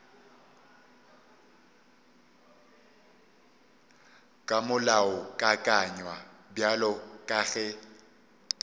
ka molaokakanywa bjalo ka ge